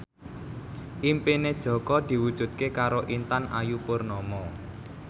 impine Jaka diwujudke karo Intan Ayu Purnama